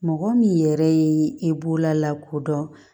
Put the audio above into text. Mɔgɔ min yɛrɛ ye e bololako dɔn